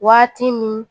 Waati min